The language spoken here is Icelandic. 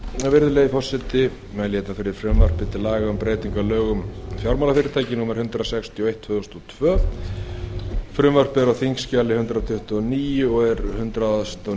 forseti ég mæli hér fyrir frumvarpi til laga um breytingu á lögum um fjármálafyrirtæki númer hundrað sextíu og eitt tvö þúsund og tvö frumvarpið er á þingskjali hundrað tuttugu og níu og er hundrað og